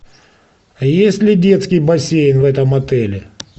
есть ли детский бассейн в этом отеле